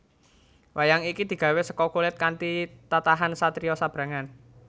Wayang iki digawé seka kulit kanthi tatahan satriya sabrangan